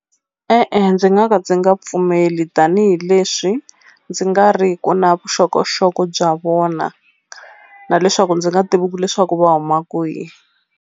E-e ndzi nga ka ndzi nga pfumeli tanihileswi ndzi nga ri ku na vuxokoxoko bya vona na leswaku ndzi nga leswaku va huma kwihi.